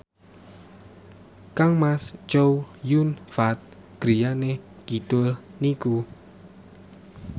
kangmas Chow Yun Fat griyane kidul niku